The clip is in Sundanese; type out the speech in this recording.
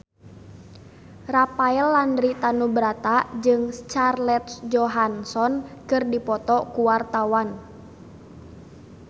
Rafael Landry Tanubrata jeung Scarlett Johansson keur dipoto ku wartawan